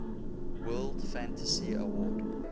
world fantasy award